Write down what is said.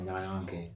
Ɲagaɲaga kɛ